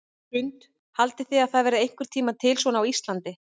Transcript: Hrund: Haldið þið að það verði einhvern tímann til svona á Íslandi?